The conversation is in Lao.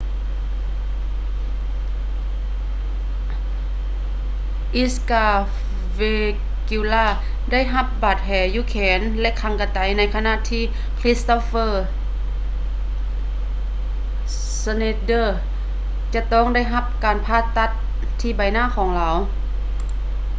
edgar veguilla ໄດ້ຮັບບາດແຜຢູ່ແຂນ ແລະ ຄາງກະໄຕໃນຂະນະທີ່ kristoffer schneider ຈະຕ້ອງໄດ້ຮັບການຜ່າຕັດທີ່ໃບໜ້າຂອງລາວ